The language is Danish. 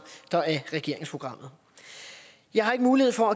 der er regeringsprogrammet jeg har ikke mulighed for